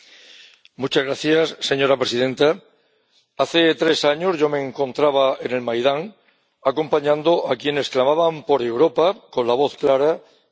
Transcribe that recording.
Señora presidenta, hace tres años yo me encontraba en el Maidán acompañando a quienes clamaban por Europa con la voz clara y las manos en alto.